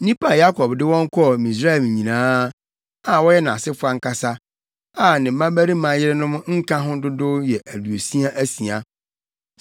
Nnipa a Yakob de wɔn kɔɔ Misraim nyinaa, a wɔyɛ nʼasefo ankasa, a ne mmabarima yerenom nka ho dodow yɛ aduosia asia.